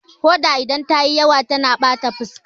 Hoda idan ta yi yawa tana bata fuska